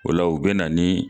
O la u be na ni